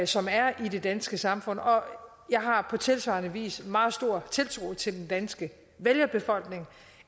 som er i det danske samfund og jeg har på tilsvarende vis meget stor tiltro til den danske vælgerbefolkning